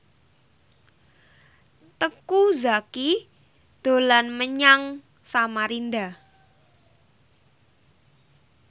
Teuku Zacky dolan menyang Samarinda